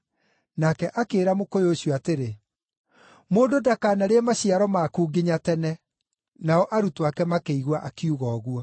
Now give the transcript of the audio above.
Nake akĩĩra mũkũyũ ũcio atĩrĩ, “Mũndũ ndakanarĩe maciaro maku nginya tene.” Nao arutwo ake makĩigua akiuga ũguo.